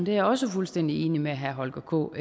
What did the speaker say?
jeg også fuldstændig enig med herre holger k